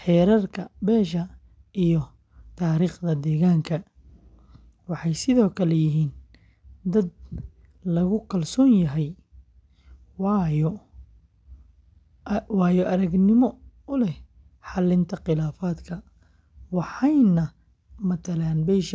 xeerarka beesha, iyo taariikhda deegaanka. Waxay sidoo kale yihiin dad lagu kalsoon yahay, waayo-aragnimo u leh xalinta khilaafaadka.